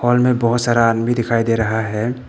Hall में बहोत सारा आदमी दिखाई दे रहा है।